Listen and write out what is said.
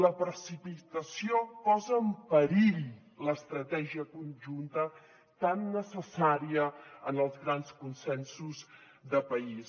la precipitació posa en perill l’estratègia conjunta tan necessària en els grans consensos de país